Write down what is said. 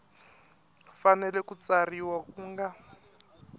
fanele ku tsarisiwa ku nga